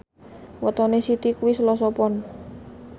wetone Siti kuwi Selasa Pon